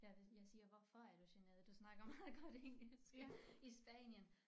Jeg er det jeg siger hvorfor er du generet du snakker meget godt engelsk. I Spanien